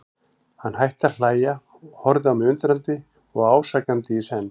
Hann hætti að hlæja, horfði á mig undrandi og ásakandi í senn.